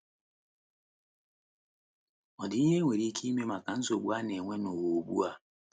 Ọ̀ dị ihe enwere ike ime maka nsogbu a na - enwe n’ụwa ugbu a?